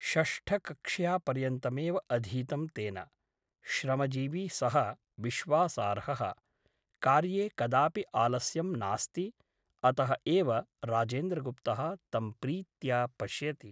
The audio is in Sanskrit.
षष्ठकक्ष्यापर्यन्तमेव अधीतं तेन । श्रमजीवी सः विश्वासार्हः । कार्ये कदापि आलस्यं नास्ति । अतः एव राजेन्द्रगुप्तः तं प्रीत्या पश्यति ।